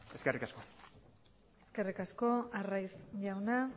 eskerrik asko eskerrik asko arraiz jauna